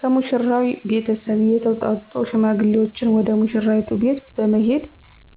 ከሙሽራው ቤተሰብ የተውጣጡ ሽማግሌዎች ወደ ሙሽራይቱ ቤት በመሄድ